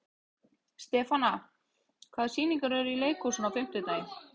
Stefana, hvaða sýningar eru í leikhúsinu á fimmtudaginn?